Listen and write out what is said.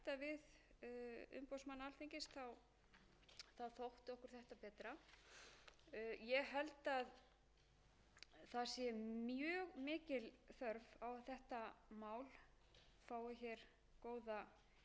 ég held að það sé mjög mikil þörf á að þetta mál fái hér góða umfjöllun í allsherjarnefnd það hefur reyndar verið rætt þar